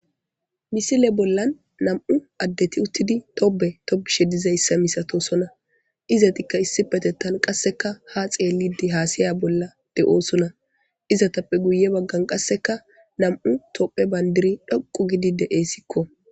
misile bollan nam7u addeti uttidi tobe tobishe dizayssa misatosona izatikka issi petettan qasseka ha xeellide haasiya bolla de7oosona izatappe guye baggan qasseka nam7u tophe bandiri dhoqu gidi de7eessikko